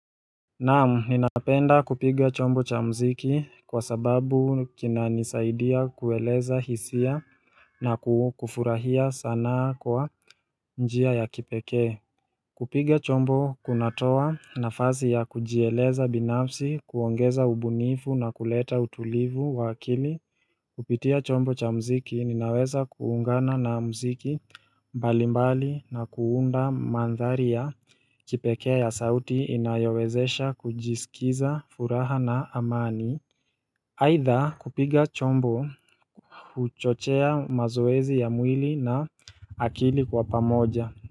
Naam, ninapenda kupiga chombo cha muziki kwa sababu kinanisaidia kueleza hisia na kufurahia sanaa kwa njia ya kipekee. Kupiga chombo kunatoa nafasi ya kujieleza binafsi, kuongeza ubunifu na kuleta utulivu wa akili. Kupitia chombo cha muziki ninaweza kuungana na muziki mbalimbali na kuunda maandhari kipekee ya sauti inayowezesha kujisikiza furaha na amani. Haidha, kupiga chombo kuchochea mazoezi ya mwili na akili kwa pamoja.